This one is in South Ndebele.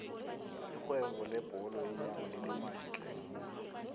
irhwebo lebhola yeenyawo linemali tlhe